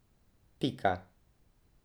Pika.